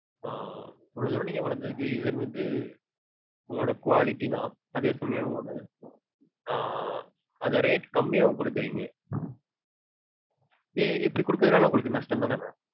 ஆஹ் இவ்ளோ தூரம் நீங்க வளந்ததுக்கு reason வந்து உங்களோட quality தா. அதே சமயம் அந்த rate கம்மியாவும் கொடுக்கறீங்க. இப்டி கொடுக்கறதால உங்களுக்கு நஷ்டம்தான mam?